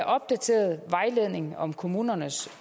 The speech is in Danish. opdateret vejledning om kommunernes